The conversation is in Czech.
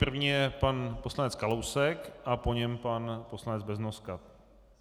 První je pan poslanec Kalousek a po něm pan poslanec Beznoska.